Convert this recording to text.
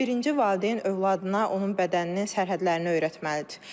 Birinci valideyn övladına onun bədəninin sərhədlərini öyrətməlidir.